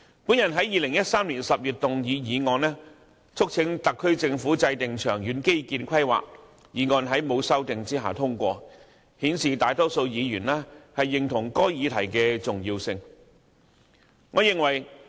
我在2013年10月提出議案，促請政府制訂長遠基建規劃，議案在未經修訂下通過，顯示大多數議員認同該議題的重要性。